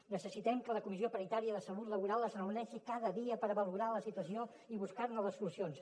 necessitem que la comissió paritària de salut laboral es reuneixi cada dia per valorar la situació i buscar ne les solucions